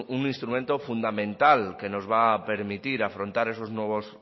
un instrumento fundamental que nos va a permitir afrontar esos nuevos